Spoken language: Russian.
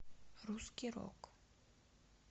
русский рок